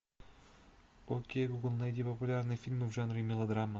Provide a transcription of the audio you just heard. окей гугл найди популярные фильмы в жанре мелодрама